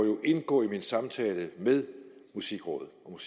indgå i min samtale med musikudvalget og